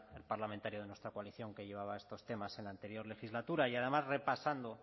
el parlamentario de nuestra coalición que llevaba estos temas en la anterior legislatura y además repasando